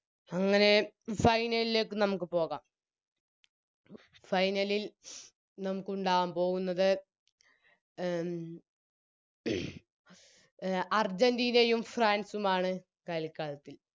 അങ്ങനെ Final ലേക്ക് നമുക്ക് പോകാം Final ലിൽ നമുക്കുണ്ടാവാൻ പോവുന്നത് ഉം എ അർജന്റീനയും ഫ്രാൻസുമാണ് കളിക്കളത്തിൽ